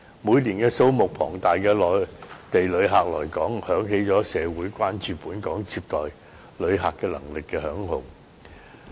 每年數目龐大的內地旅客來港，響起了社會關注本港接待旅客能力的警號。